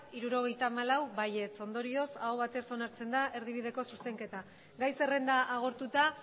hirurogeita hamalau ondorioz aho batez onartzen da erdibideko zuzenketa gai zerrenda agortuta